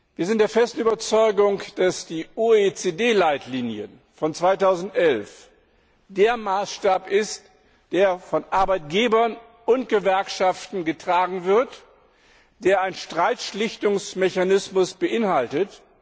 Wir sind der festen Überzeugung, dass die OECD Leitlinien von 2011 der Maßstab sind, der von Arbeitgebern und Gewerkschaften getragen wird, der einen Streitschlichtungsmechanismus beinhaltet.